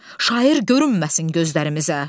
Şair görünməsin gözlərimizə.